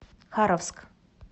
харовск